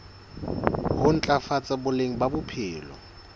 ho ntlafatsa boleng ba bophelo